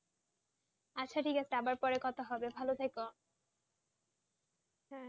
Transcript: আচ্ছা ঠিক আছে তারপরে কথা হবে ভালো থেকো